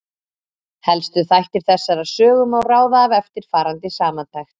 Helstu þætti þessarar sögu má ráða af eftirfarandi samantekt.